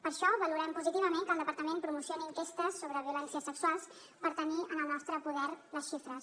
per això valorem positivament que el departament promocioni enquestes sobre violències sexuals per tenir en el nostre poder les xifres